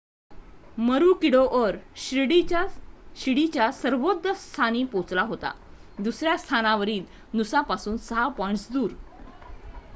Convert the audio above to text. मरुकीडोअर शिडीच्या सर्वोच्च स्थानी पोहोचला होता दुसऱ्या स्थानावरील नूसापासून 6 पॉईंट्स दूर